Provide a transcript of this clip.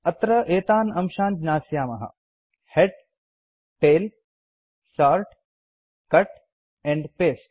अत्र एतान् अंशान् ज्ञास्यामः head tail sort cut and paste